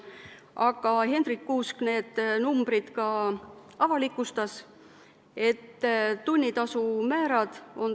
Aga Hendrik Kuusk avalikustas ka need numbrid.